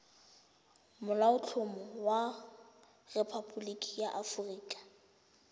molaotlhomo wa rephaboliki ya aforika